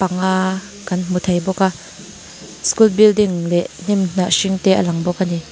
panga kan hmu thei bawk a skul bilding leh hnim hnah hring te a lang bawk a ni.